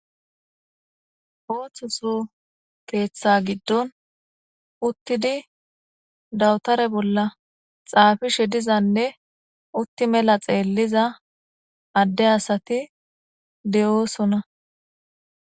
ooththoso keeththa giddon uttidi dawutare bolla xaafishe dizanne utti mela xeelliza adde asati de'oosona